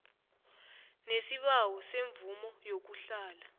nesibawo semvumo yokuhlala